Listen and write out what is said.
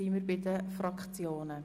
Somit kommen wir zu den Fraktionen.